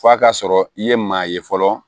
F'a ka sɔrɔ i ye maa ye fɔlɔ